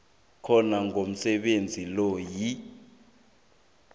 khona komsebenzi loyo